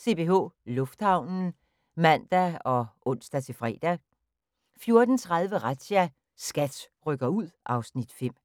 CPH Lufthavnen (man og ons-fre) 14:00: CPH Lufthavnen ( man, ons, fre) 14:30: Razzia – SKAT rykker ud (Afs. 5)